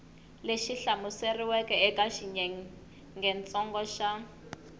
lexi hlamuseriweke eka xiyengentsongo xa